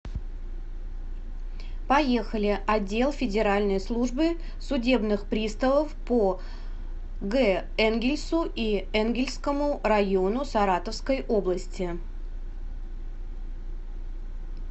поехали отдел федеральной службы судебных приставов по г энгельсу и энгельсскому району саратовской области